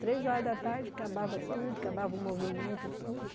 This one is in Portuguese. Três horas da tarde, acabava tudo, acabava o movimento, tudo.